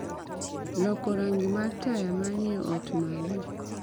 Loko rangi mar taya manie ot malo